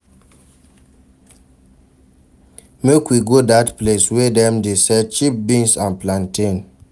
Make we go dat place wey dem dey sell cheap beans and plantain.